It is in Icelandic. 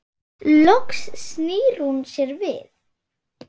Loks snýr hún sér við.